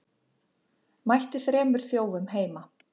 Mætti þremur þjófum heima